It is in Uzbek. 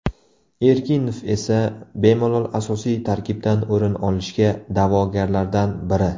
Erkinov esa bemalol asosiy tarkibdan o‘rin olishga da’vogarlardan biri.